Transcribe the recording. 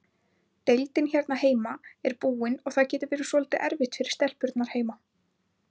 Deildin hérna heima er búin og það getur verið svolítið erfitt fyrir stelpurnar heima.